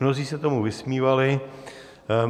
Mnozí se tomu vysmívali.